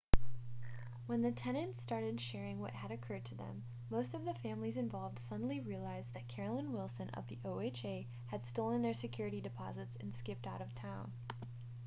when the tenants started sharing what had occurred to them most of the families involved suddenly realized that carolyn wilson of the oha had stolen their security deposits and skipped out of town